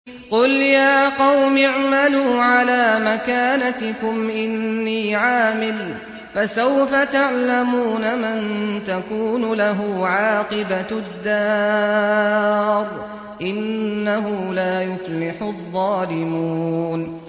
قُلْ يَا قَوْمِ اعْمَلُوا عَلَىٰ مَكَانَتِكُمْ إِنِّي عَامِلٌ ۖ فَسَوْفَ تَعْلَمُونَ مَن تَكُونُ لَهُ عَاقِبَةُ الدَّارِ ۗ إِنَّهُ لَا يُفْلِحُ الظَّالِمُونَ